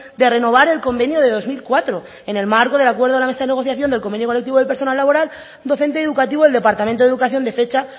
de renovar el convenio de dos mil cuatro en el marco del acuerdo de la mesa de negociación del convenio colectivo del personal laboral docente y educativo del departamento de educación de fecha